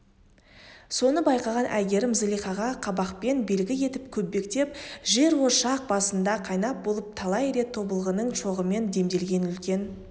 соны байқаған әйгерім зылихаға қабақпен белгі етіп көптен жерошақ басында қайнап болып талай рет тобылғының шоғымен демделген үлкен